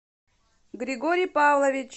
григорий павлович